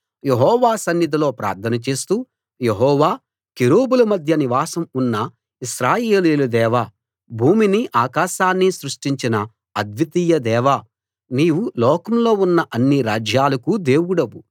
యెహోవా సన్నిధిలో ప్రార్థన చేస్తూ యెహోవా కెరూబుల మధ్య నివాసం ఉన్న ఇశ్రాయేలీయుల దేవా భూమినీ ఆకాశాన్ని సృష్టించిన అద్వితీయ దేవా నీవు లోకంలో ఉన్న అన్ని రాజ్యాలకూ దేవుడవు